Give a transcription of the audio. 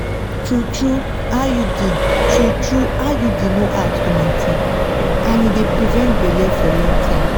true-trueiud true-trueiud no hard to maintain and e dey prevent belle for long time